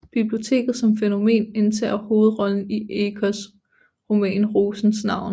Biblioteket som fænomen indtager hovedrollen i Ecos roman Rosens navn